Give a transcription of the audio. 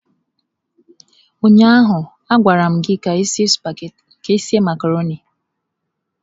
Ụnyaahụ a gwaram gị ka ị sie macarọnị.